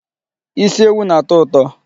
Isi ewu na-atọ ụtọ.